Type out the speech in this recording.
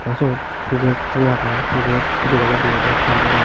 syot getto agey gate dega jaidey syot sanbod agey.